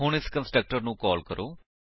ਹੁਣ ਇਸ ਕੰਸਟਰਕਟਰ ਨੂੰ ਕਾਲ ਕਰੋ